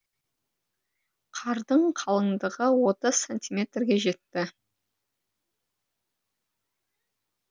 қардың қалыңдығы отыз сантиметрге жетті